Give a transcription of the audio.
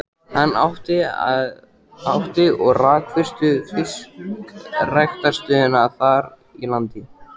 Hann átti og rak fyrstu fiskræktarstöðina þar í landi.